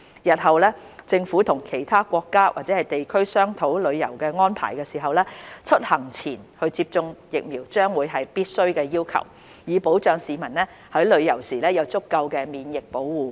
日後政府與其他國家或地區商討旅遊安排時，出行前接種疫苗將會是必須的要求，以保障市民在旅遊時有足夠的免疫保護。